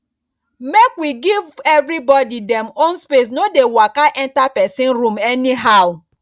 make we give everybody dem own space no dey waka enter person room anyhow